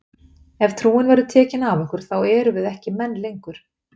Ef trúin verður tekin af okkur þá erum við ekki menn lengur!